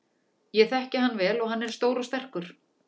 Ég þekki hann vel og hann er stór og sterkur.